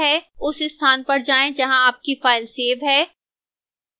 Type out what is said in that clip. उस स्थान पर जाएं जहां आपकी file सेव है